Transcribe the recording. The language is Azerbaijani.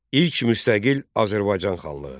İlk müstəqil Azərbaycan xanlığı.